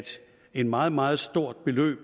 et meget meget stort beløb